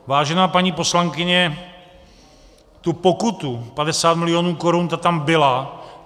Vážená paní poslankyně, ta pokuta 50 milionů korun tam byla.